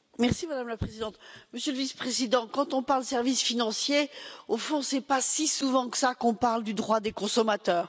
Madame la Présidente, Monsieur le Vice président, quand on parle des services financiers, ce n'est pas si souvent que ça qu'on parle du droit des consommateurs.